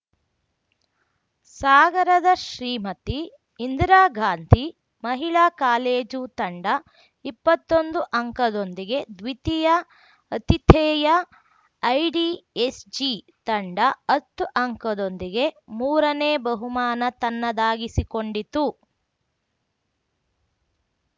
ಸಾಗರದ ಶ್ರೀಮತಿ ಇಂದಿರಾಗಾಂಧಿ ಮಹಿಳಾ ಕಾಲೇಜು ತಂಡ ಇಪ್ಪತ್ತೊಂದು ಅಂಕದೊಂದಿಗೆ ದ್ವಿತೀಯ ಅತಿಥೇಯ ಐಡಿಎಸ್‌ಜಿ ತಂಡ ಹತ್ತು ಅಂಕದೊಂದಿಗೆ ಮೂರನೇ ಬಹುಮಾನ ತನ್ನದಾಗಿಸಿಕೊಂಡಿತು